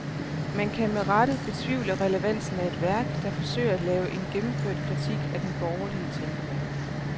Man kan med rette betvivle relevansen af et værk, der forsøger at lave en gennemført kritik af den borgerlige tænkemåde.